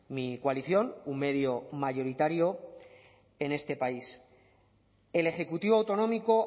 mi coalición un medio mayoritario en este país el ejecutivo autonómico